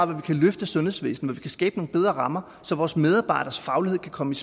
vi kan løfte sundhedsvæsenet og skabe nogle bedre rammer så vores medarbejders faglighed kan komme